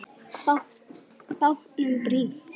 Bátnum brýnt.